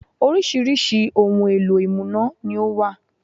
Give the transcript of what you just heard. Oríṣiríṣi ohun èlò ìmúná ni ó wà